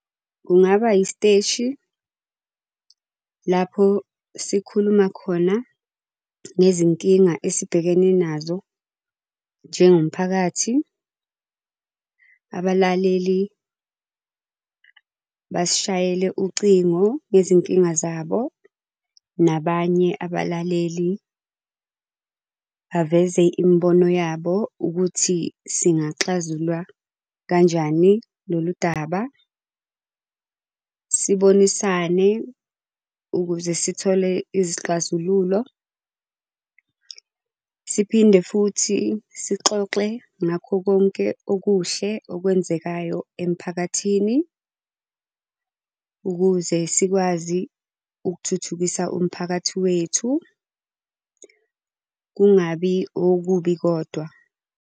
Kungaba isiteshi, lapho sikhuluma khona ngezinkinga esibhekene nazo njengomphakathi. Abalaleli basishayela ucingo ngezinkinga zabo, nabanye abalaleli baveze imibono yabo ukuthi singaxazulula kanjani lolu daba. Sibonisane ukuze sithole izixazululo. Siphinde futhi sixoxe ngakho konke okuhle okwenzekayo emiphakathini. Ukuze sikwazi ukuthuthukisa umphakathi wethu, kungabi okubi kodwa.